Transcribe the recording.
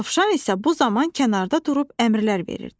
Dovşan isə bu zaman kənarda durub əmrlər verirdi.